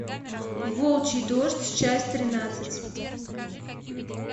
волчий дождь часть тринадцать